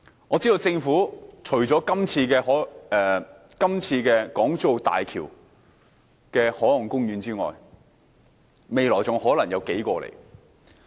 我知道政府除了這次在港珠澳大橋附近設立海岸公園外，未來還可能有數個。